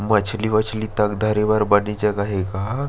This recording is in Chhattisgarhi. मछली-उछली तक धरे बर बने जगह हे गा--